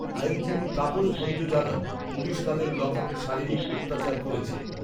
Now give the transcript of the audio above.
আইনজীবী তাপস ভঞ্জ জানান পুলিশ তাদের লক আপে শারীরিক অত্যাচার করেছে